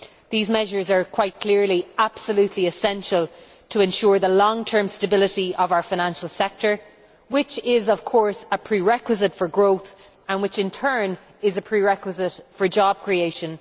These measures are quite clearly absolutely essential to ensure the long term stability of our financial sector, which is of course a prerequisite for growth, which in turn is a prerequisite for job creation.